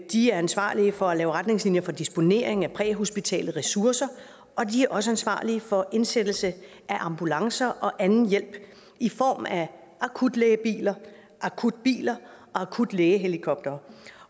de er ansvarlige for at lave retningslinjer for disponering af præhospitale ressourcer de er også ansvarlige for indsættelse af ambulancer og anden hjælp i form af akutlægebiler akutbiler og akutlægehelikoptere